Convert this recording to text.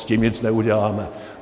S tím nic neuděláme.